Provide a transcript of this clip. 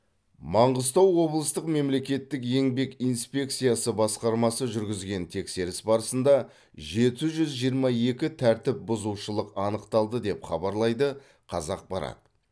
маңғыстау облыстық мемлекеттік еңбек инспекциясы басқармасы жүргізген тексеріс барысында жеті жүз жиырма екі тәртіпбұзушылық анықталды деп хабарлайды қазақпарат